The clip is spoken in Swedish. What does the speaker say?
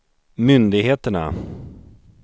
myndigheterna